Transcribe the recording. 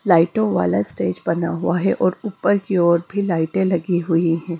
लाइटों वाला स्टेज बना हुआ है और ऊपर की ओर भी लाइटें लगी हुई हैं।